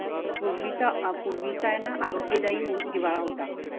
पूर्वीचा अपूर्वी चायना आरोग्यदायी हिवाळा होता.